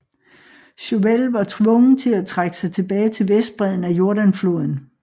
Chauvel var tvunget til at trække sig tilbage til vestbredden af Jordan floden